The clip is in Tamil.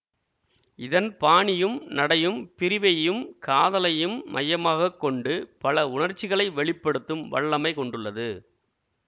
இதன் பாணியும் நடையும் பிரிவையும் காதலையும் மையமாக கொண்டு பல உணர்ச்சிகளை வெளி படுத்தும் வல்லமை கொண்டுள்ளது